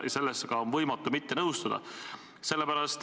Sellega on võimatu mitte nõustuda.